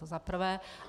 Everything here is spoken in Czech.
To za prvé.